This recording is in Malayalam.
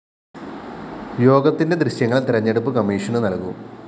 യോഗത്തിന്റെ ദൃശ്യങ്ങള്‍ തെരഞ്ഞെടുപ്പ് കമ്മീഷന് നല്‍കും